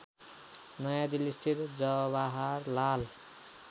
नयाँदिल्लीस्थित Jawaharlal